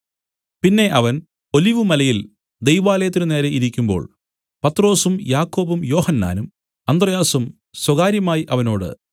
പിന്നെ അവൻ ഒലിവുമലയിൽ ദൈവാലയത്തിന് നേരെ ഇരിക്കുമ്പോൾ പത്രൊസും യാക്കോബും യോഹന്നാനും അന്ത്രെയാസും സ്വകാര്യമായി അവനോട്